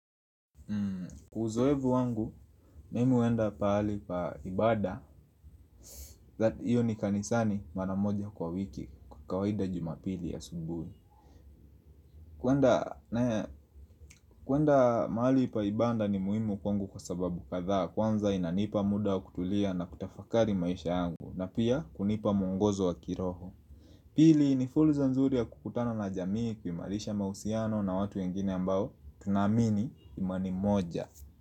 Uzoevu wangu, mimi huenda pahali pa ibada, iyo ni kanisani mara moja kwa wiki kwa kawaida jumapili asubuhi kuenda mahali pa ibanda ni muhimu kwangu kwa sababu kadhaa kwanza inanipa muda wa kutulia na kutafakari maisha yangu na pia kunipa mwongozo wa kiroho Pili ni fulza nzuri ya kukutana na jamii kuimarisha mahusiano na watu wengine ambao tunaamini imani moja.